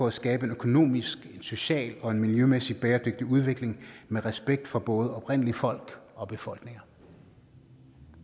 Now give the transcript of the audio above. at skabe en økonomisk socialt og miljømæssigt set bæredygtig udvikling med respekt for både oprindelige folk og befolkninger